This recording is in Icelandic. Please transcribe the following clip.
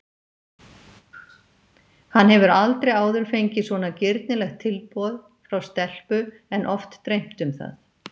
Hann hefur aldrei áður fengið svona girnilegt tilboð frá stelpu en oft dreymt um það.